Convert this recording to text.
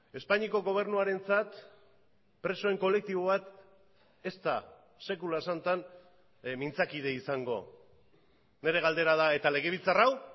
espainiako gobernuarentzat presoen kolektibo bat ez da sekula santan mintzakide izango nire galdera da eta legebiltzar hau